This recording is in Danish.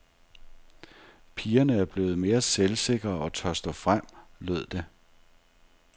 Pigerne er blevet mere selvsikre og tør stå frem, lød det.